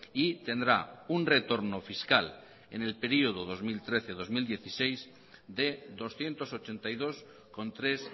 y tendrá un retorno fiscal en el periodo dos mil trece dos mil dieciséis de doscientos ochenta y dos coma tres